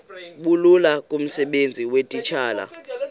bulula kumsebenzi weetitshala